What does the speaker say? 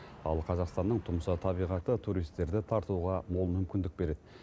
ал қазақстанның тұмса табиғаты туристерді тартуға мол мүмкіндік береді